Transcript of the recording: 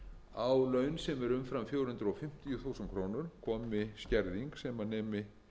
á laun sem eru umfram fjögur hundruð fimmtíu þúsund krónur komi skerðing sem nemi